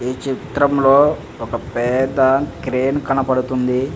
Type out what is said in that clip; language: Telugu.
ఈ చిత్రం లోఒక పెద్ద క్రేన్ కనపడ్తుంది.